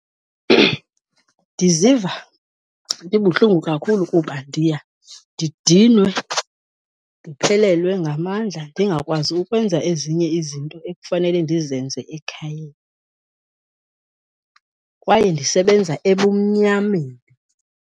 Ndiziva ndibuhlungu kakhulu kuba ndiya ndidinwe, ndiphelelwe ngamandla ndingakwazi ukwenza ezinye izinto ekufanele ndizenze ekhayeni, kwaye ndisebenza ebumnyameni.